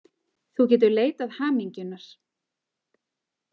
Þú getur leitað hamingjunnar.